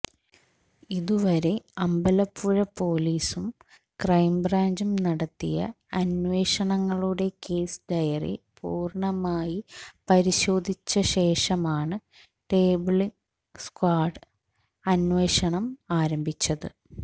ഇതുവരെ അമ്പലപ്പുഴ പൊലീസും ക്രൈംബ്രാഞ്ചും നടത്തിയ അന്വേഷണങ്ങളുടെ കേസ് ഡയറി പൂര്ണ്ണമായി പരിശോധിച്ചശേഷമാണ് ടെമ്പിള് സ്ക്വാഡ് അന്വേഷണം ആരംഭിച്ചത്